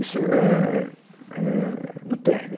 Isso é, é, no térreo.